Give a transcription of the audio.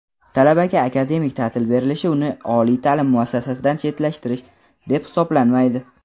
Talabaga akademik ta’til berilishi uni oliy ta’lim muassasasidan chetlashtirish deb hisoblanmaydi.